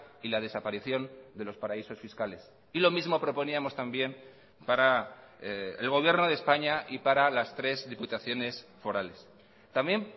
y la desaparición de los paraísos fiscales y lo mismo proponíamos también para el gobierno de españa y para las tres diputaciones forales también